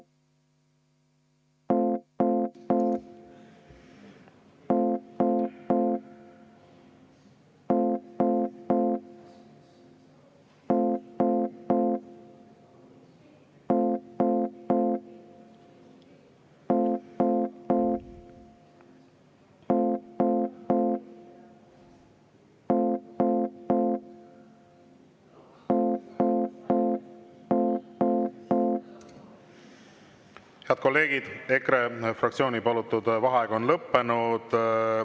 Head kolleegid, EKRE fraktsiooni palutud vaheaeg on lõppenud.